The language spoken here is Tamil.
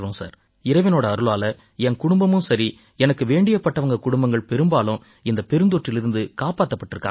சார் இறைவனோட அருளால என் குடும்பமும் சரி எனக்கு வேண்டியப்பட்டவங்க குடும்பங்கள் பெரும்பாலும் இந்தப் பெருந்தொற்றிலிருந்து காப்பாத்தப் பட்டிருக்காங்க